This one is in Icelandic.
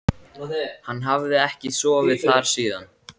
Hann hafði ekki sofið þar síðan.